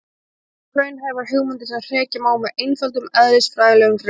þetta eru óraunhæfar hugmyndir sem hrekja má með einföldum eðlisfræðilegum rökum